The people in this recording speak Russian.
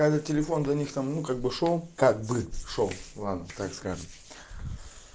этот телефон для них там ну как бы шёл как бы шёл ладно как скажешь